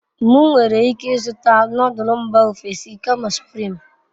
M nwere ike izuta nodul mba ofesi kama supirim